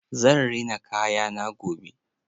Zan rina kayana gobe.